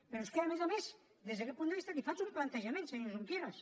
però és que a més a més des d’aquest punt de vista li faig un plantejament senyor junqueras